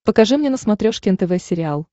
покажи мне на смотрешке нтв сериал